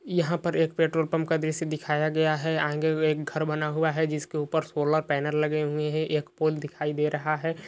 यहाँ पर एक पेट्रोल पम्प का दृश्य दिखाया गया है आगे मे एक घर बना हुआ है जिसके ऊपर सोलर पैनल लगे हुए है | एक पोल दिखाई दे रहा है।